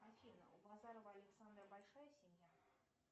афина у базарова александра большая семья